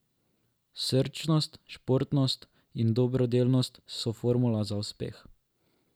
Srčnost, športnost in dobrodelnost so formula za uspeh.